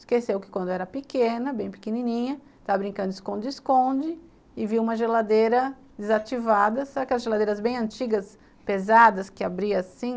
Esqueceu que quando era pequena, bem pequenininha, estava brincando esconde-esconde e viu uma geladeira desativada, sabe aquelas geladeiras bem antigas, pesadas, que abria assim?